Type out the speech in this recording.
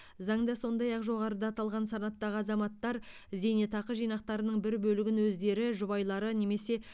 заңда сондай ақ жоғарыда аталған санаттағы азаматтар зейнетақы жинақтарының бір бөлігін өздері жұбайлары немесе